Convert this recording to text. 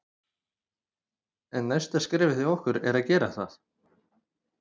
En næsta skrefið hjá okkur er að gera það.